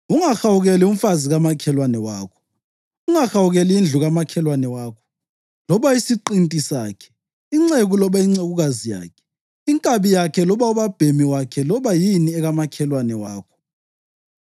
Ungahawukeli umfazi kamakhelwane wakho. Ungahawukeli indlu kamakhelwane wakho loba isiqinti sakhe, inceku loba incekukazi yakhe, inkabi yakhe loba ubabhemi wakhe loba yini ekamakhelwane wakho.’